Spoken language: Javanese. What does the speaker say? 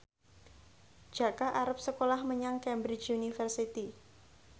Jaka arep sekolah menyang Cambridge University